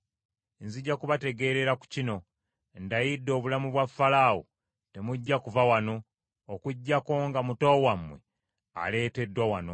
Nzija kubategeerera ku kino, ndayidde obulamu bwa Falaawo temujja kuva wano, okuggyako nga muto wammwe aleeteddwa wano.